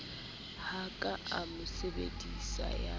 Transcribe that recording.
ho ka ama sabsidi ya